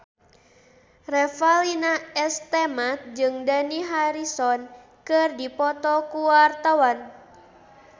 Revalina S. Temat jeung Dani Harrison keur dipoto ku wartawan